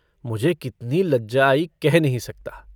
मुझे कितनी लज्जा आई कह नहीं सकता।